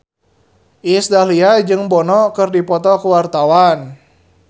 Iis Dahlia jeung Bono keur dipoto ku wartawan